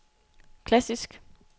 klassisk